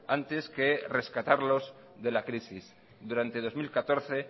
antes que rescatarlos de la crisis durante dos mil catorce